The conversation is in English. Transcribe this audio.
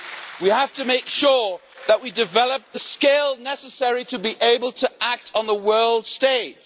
We have to make sure that we develop the skills necessary to be able to act on the world stage.